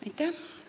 Aitäh!